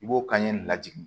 I b'o kanɲɛ in lajigin